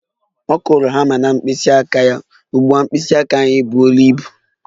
Ọ kụrụ hama na mkpịsị aka ya, ugbu a mkpịsị aka ya buru ibu